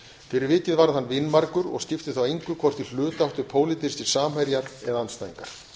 fyrir vikið varð hann vinmargur og skipti þá engu hvort í hlut áttu pólitískir samherjar eða andstæðingar